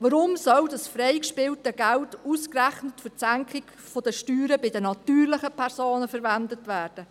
Warum soll das freigespielte Geld ausgerechnet für die Senkung der Steuern bei den natürlichen Personen verwendet werden?